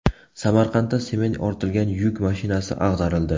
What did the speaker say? Samarqandda sement ortilgan yuk mashinasi ag‘darildi.